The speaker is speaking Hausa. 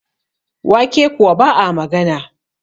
wake kuwa ba a magana